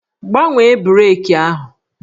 Gbanwee breeki ahụ!